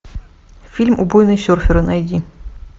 фильм убойные серферы найди